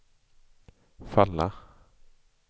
falla